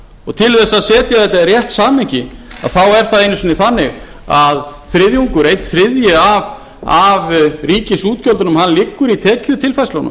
og til að setja þetta í rétt samhengi þá er það einu sinni þannig að þriðjungur einn þriðji af ríkisútgjöldunum liggur í